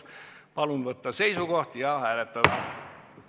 Palun võtta seisukoht ja hääletada!